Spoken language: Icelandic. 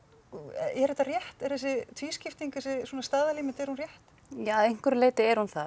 er þetta rétt er þessi tvískipting þessi svona staðalímynd er hún rétt ja að einhverju leyti er hún það